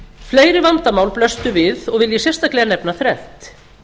fleiri vandamál blöstu við og vil ég sérstaklega nefna þrennt